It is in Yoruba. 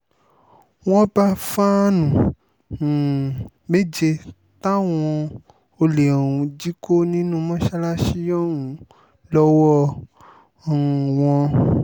wọ́n bá fàánú um méje táwọn olè ọ̀hún jí kó nínú mọ́ṣáláṣí ọ̀hún lọ́wọ́ um wọn